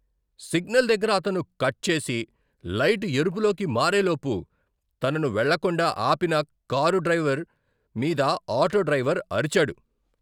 Signal దగ్గర తనను cut చేసి, లైట్ ఎరుపులోకి మారే లోపు తనను వెళ్లకుండా ఆపిన కారు డ్రైవర్ మీద ఆటో డ్రైవర్ అరిచాడు.